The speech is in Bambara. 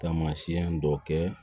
Taamasiyɛn dɔ kɛ